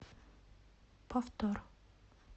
повтор